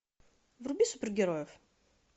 вруби супергероев